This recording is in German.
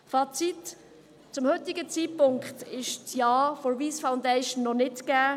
Fazit: Zum heutigen Zeitpunkt ist das Ja vonseiten der Wyss Foundation noch nicht gegeben.